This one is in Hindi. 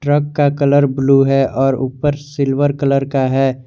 ट्रक का कलर ब्लू है और ऊपर सिल्वर कलर का है।